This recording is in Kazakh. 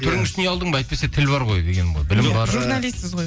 түрің үшін ұялдың ба әйтпесе тіл бар ғой дегенім ғой